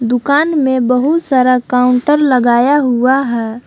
दुकान में बहुत सारा काउंटर लगाया हुआ है।